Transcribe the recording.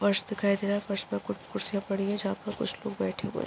फर्श दिखाई दे रहा है फर्श पे कुछ कुर्सियां पड़ी है जहां पर कुछ लोग बैठे हुए है।